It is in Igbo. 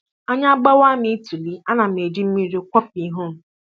Anya gbawa m ituli, ana m eji mmiri akwọpụ ihu m